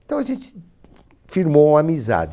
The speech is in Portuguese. Então a gente firmou uma amizade.